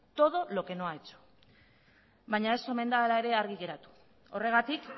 todo lo que no ha hecho baina ez omen da hala ere argi geratu horregatik